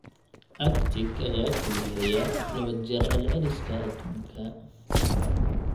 Arctic-ka ayaa kulaylaya laba jeer celceliska adduunka.